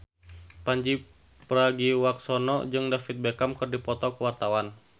Pandji Pragiwaksono jeung David Beckham keur dipoto ku wartawan